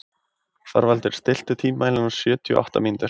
Þorvaldur, stilltu tímamælinn á sjötíu og átta mínútur.